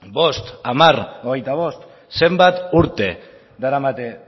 bost hamar hogeita bost zenbat urte daramate